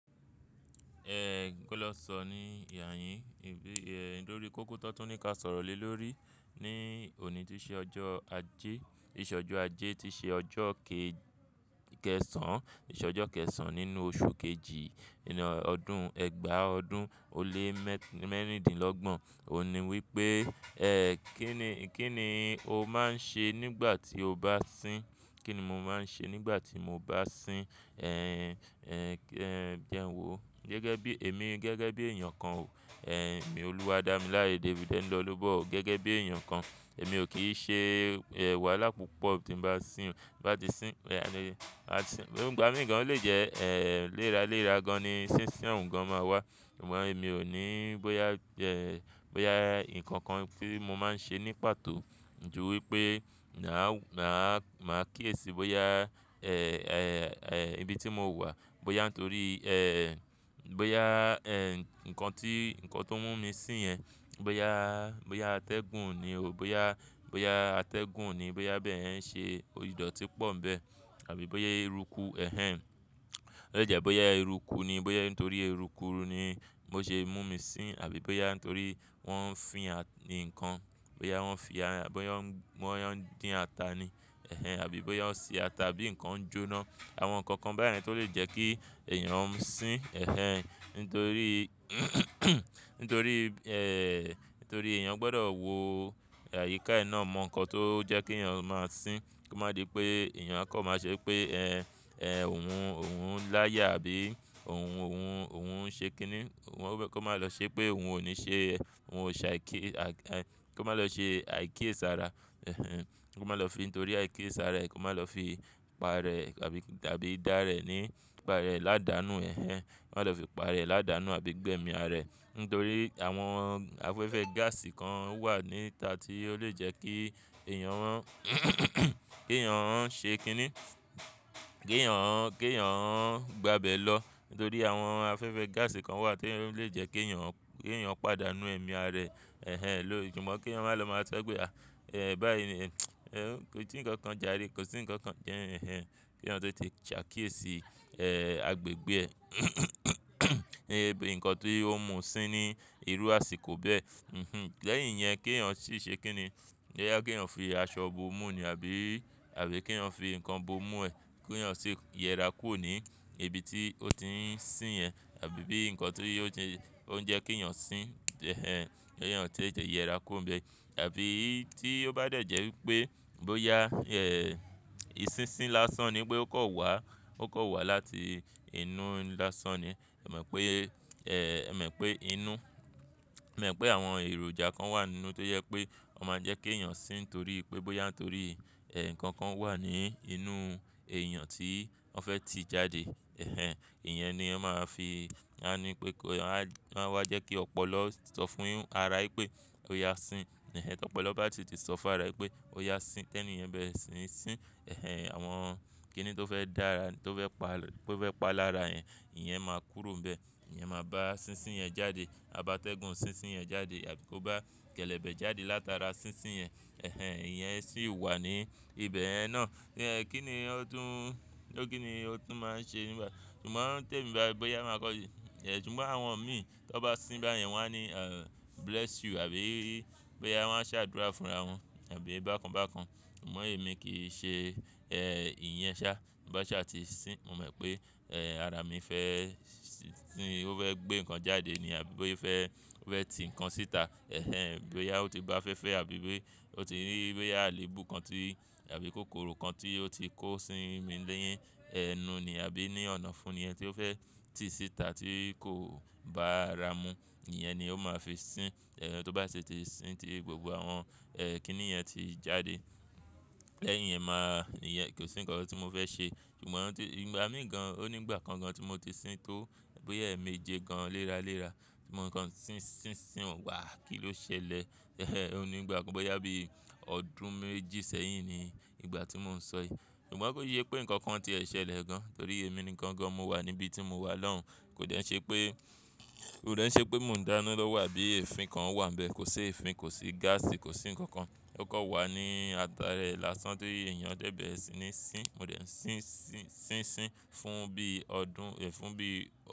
Ẹ gboleso ni ààyìn, ẹ dori kóko tó tún ní ká sọ̀rọ̀ lé lórí. Ni òní tí ṣe ọjọ́ ajé, ti se ojo ajé tí ṣe ọjọ́ ke-- kẹsàn án, tì ṣẹ́ ojo kẹsàn án nínú oṣù kejì inú ọdún ẹgbàá ọdún ó lé mẹ́rìndínlọ́gbọ̀n. Ó ní wí pé, "Ẹ́ kín ni, kín ni o máa ń ṣe nígbà tí o bá sín?" Kí ni mo máa ń ṣe nígbà tí mo bá sín, ẹ́, ẹ́, ẹ́, jẹ n wò? Gẹ́gẹ́ bí, èmi gẹ́gẹ́ bí èèyàn kan ò. Ẹ̀, mi Olúwadámiláyé David Ẹniọ́lọ́gbàlọ́gọ̀ gẹ́gẹ́ bí èèyàn kan, èmi ò kí ṣe, ẹ́, wàhálà púpọ̀ tí ń bá sín. Bá ti sín, ẹ̀, àti-- ìgbà mí gan lé jẹ́, ẹ́, léra léra gan ni sísín òun gan máa wà. Ṣùgbọ́n èmi ò ní bóyá, ẹ́, bóyá nnkan kan tí mo máa ń ṣe ní pàtó ju wí pé màá, màá kíyèsi bóyá, ẹ́, ẹ́, ẹ́, ibi tí mo wà, bóyá torí, ẹ́, bóyá, ẹ́, nnkan tí, nnkan tó mú mi sín yẹn, bóyá, bóyá atẹ́gùn ni òó, bóyá, bóyá atẹ́gùn ni, bóyá bẹ́ẹ̀ yeń ṣe ìdọ̀tí pọ̀ ń bẹ. Àbí bóyá eruku, ẹhẹn. Ó lè jẹ́ bóyá eruku ni, bóyá nítorí eruku ni ó ṣe mú mi sín àbí bóyá nítorí wọ́n ń fín ni nnkan. Bóyá wọ́n fi à-- àbí wọ́n, wọ́n ń dín ata ni, ẹhẹn. Àbí bóyá wọ́n ń sè ata bí nnkan ń joná. Àwọn nnkan kan báyìí náà tó lè jẹ́ kí èèyàn sín, ẹhẹn. Nítorí, nítorí, ẹ́, nítorí èèyàn gbọ́dọ̀ wo àyíká e ná mọ nnkan tó jẹ́ kèèyàn máa sín. Kó má di pé èèyàn akọ máa ṣẹ pé, ẹ́, ẹ́, òun, òun láyà àbí òun, òun, òun ń ṣe kíni. Wọn bẹ́, kó má lọ ṣe pé òun ò ní ṣe, òun ò ṣàíkè, a-- kí ó má lọ ṣe àíkiye sára, ẹhẹn. Kó má lọ fi nítorí àíkiye sára rẹ̀, kó má lọ fi pa rẹ̀ àbí, àbí dá rẹ̀ ní, pa rẹ̀ ládàánù, ẹhẹn. Kó má lọ fi pa rẹ̀ ládàánù àbí gbẹ́mi ara rẹ̀. Nítorí àwọn afẹ́fẹ́ gáàsì kan wà níta tí ó lè jẹ́ kí èèyàn rán, kèèyàn rán ṣe kíni, k'èèyàn rán, k'èèyàn rán gbà bé lọ. Nítorí àwọn afẹ́fẹ́ gáàsì kan wà tí ó lè jẹ́ k'èèyàn, k'èèyàn pàdánù ẹ̀mí ara rẹ̀, ẹhẹn, lóri. Ṣùgbọ́n k'eeyan má lọ máa so pe ah. Ẹ̀, báyìí ní, kò sí nnkan kan jare, kò sí nnkan kan jẹ́, ẹhẹn. K'èèyàn te te ṣàákiyesí, ẹ́, agbègbè níbi nnkan tí ó mú u sín ní irú àsìkò bẹ́ẹ̀. Mhm. Lẹ́yìn yẹn k'èèyàn ṣì ṣe kíni? Boya k'èèyàn fi aṣọ bo mú ni àbí, àbí k'èèyàn fi nnkan bo mú ẹ. K'èèyàn ṣì yẹra kúrò ní ibi tí ó ti ń sín yẹn. Àbí bí nnkan tí ó ń jẹ́ k'èèyàn sín, ẹhẹn. K'èèyàn tó jẹ́ yẹra kúrò níbẹ̀. Àbí tí ó bá dẹ̀ jẹ́ wí pé bóyá, ẹ́, ìsísín lásán ni pé ó kọ wà, ó kọ wà láti inú lásán ni. Ẹ mọ̀ pé, ẹ́, ẹ̀ mọ̀ pé inú-- ẹ mọ̀ pé àwọn èròjà kan wà nínú tó jẹ pé ó máa ń jẹ́ k'èèyàn sín torí pé bóyá nítorí, ẹ́, nnkan kan wà ní inú èèyàn tí wọ́n fẹ́ ti jáde. Ẹhẹn. Ìyẹn ni wọ́n máa fi, wọ́n á ní pé kó, wọ́n á, wọ́n á jẹ́ kí ọ̀pọ̀lọ sọ fún ara pé, "Ó yá sín." Ẹ̀hẹn. T'ọ̀pọ̀ló bá ti sọ fún ara pé, "Ó yá sín." Tẹ́ niyẹn bẹre sín sín, ẹhẹn. Àwọn kíni tó fẹ́ dá ara, tó fẹ́ pa, tó fẹ́ pa lára yẹn, ìyẹn máa kúrò ń bẹ. Ìyẹn máa bá sísín yẹn jáde. A bá atẹ́gùn sísín yẹn jáde àbí kó bá kẹ́lẹ́bẹ́ jáde látara sísín yẹn, ẹhẹn. Ibẹ̀ yẹn náà. Kini o tun ma n se bayi. Sugbon awon mii ton ba sin bayen won a ni bless you abi boya won a sadura funra won abi bakan bakan amoo emi kii se iyen sa ti m ba saa ti sin mo mo pe ara mi fe gbe nnkan jade abi o fe fe ti nnkan sita, boya o ti gbafefe abi o ti ri boya aleebu kan ti tabi kokoro kan ti o ti ko si ni enu ni abi onofu yen ti o fe ti sita ti ko bara mu iyen ni o ma fi sin to ba si ti sin ti awon kini yen ti jade, ko si nnkan ti mo fe se sugbon ígba mi gan, ó ní ìgbà kan gan tí mo ti sín tó bóyá èmejẹ gan léra léra. Ṣùgbọ́n nnkan sísín sín, "Wàá kí ló ṣẹlẹ̀?" Ó ní ìgbà kan bóyá bí ọdún méjì sẹ́yìn ni ìgbà tí mò ń sọ yí. Ṣùgbọ́n kó sé pé nnkan kan ti ẹ̀ ṣẹlẹ̀ gan torí èmi ni nnkan gan mo wà níbí tí mo wà lọ́hùn. Kò dẹ́ ṣe pé, kò dẹ́ ṣe pé mò ń dáná lọ́wọ́ àbí èfin kan wà ń bẹ. Kò sé èfin, kò sí gáàsì, kò sí nnkan kan. Ó kọ wà ní ata rẹ̀ lásán tí èèyàn dẹ̀ bẹ́ẹ̀ sí ní sín. Mo dẹ̀ ń sín sín sín sín fún bí ọdún, fún bí ọdún-